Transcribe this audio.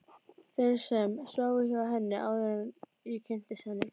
Þeim sem sváfu hjá henni, áður en ég kynntist henni.